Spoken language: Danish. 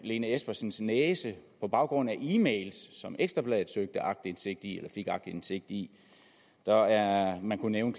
lene espersens næse på baggrund af e mails som ekstra bladet søgte aktindsigt i og fik aktindsigt i og man kunne nævne